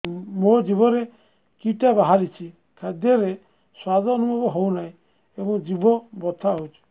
ମୋ ଜିଭରେ କିଟା ବାହାରିଛି ଖାଦ୍ଯୟରେ ସ୍ୱାଦ ଅନୁଭବ ହଉନାହିଁ ଏବଂ ଜିଭ ବଥା ହଉଛି